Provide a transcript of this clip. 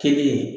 Kelen